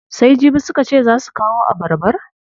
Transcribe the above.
Sai jibi suka ce zaa su kawo abarbar?